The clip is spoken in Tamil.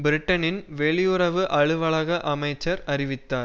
பிரிட்டனின் வெளியுறவு அலுவலக அமைச்சர் அறிவித்தார்